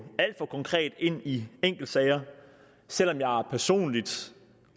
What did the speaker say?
alt for konkret ind i enkeltsager selv om jeg personligt